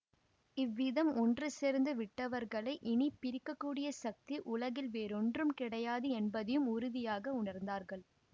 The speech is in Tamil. இவ்விதம் ஒன்று சேர்ந்து விட்டவர்களை இனி பிரிக்கக் கூடிய சக்தி உலகில் வேறொன்றும் கிடையாது என்பதையும் உறுதியாக உணர்ந்தார்கள்